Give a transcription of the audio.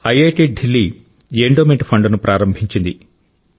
IIT Delhi endowment ఫండ్ను ప్రారంభించింది